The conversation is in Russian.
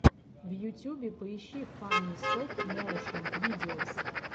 в ютюбе поищи фанни стоп моушен видеос